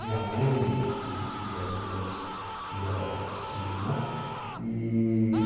Minha mãe e e as duas e a e as tias, né? E...